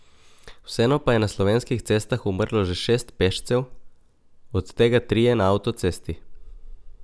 Vseeno pa je na slovenskih cestah umrlo že šest pešcev, od tega trije na avtocesti.